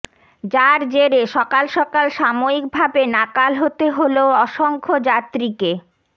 যার জেরে সকাল সকাল সাময়িকভাবে নাকাল হতে হল অসংখ্য যাত্রীকে